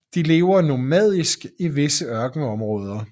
De lever nomadisk i visse ørkenområder